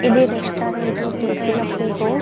ఇది రెస్టారెంట్లో తీసిన ఫోటో .